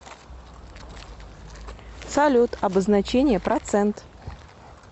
салют обозначение процент